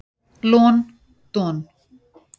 Lon don.